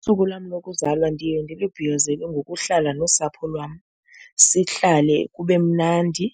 Usuku lwam lokuzalwa ndiye ndilubhiyozele ngokuhlala nosapho lwam, sihlale kube mnandi,